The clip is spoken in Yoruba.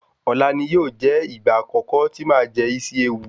Ọ̀la ni yóò jẹ́ ìgbà àkọ́kọ́ tí màá máa jẹ Isi ewu.